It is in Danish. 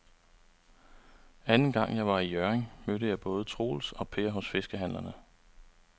Anden gang jeg var i Hjørring, mødte jeg både Troels og Per hos fiskehandlerne.